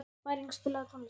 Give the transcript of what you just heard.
Bæring, spilaðu tónlist.